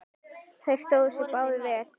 Þeir stóðu sig báðir vel.